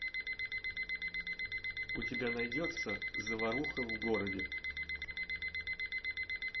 у тебя найдется заваруха в городе